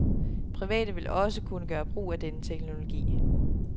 Private vil også kunne gøre brug af denne teknologi.